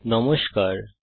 নমস্কার বন্ধুগণ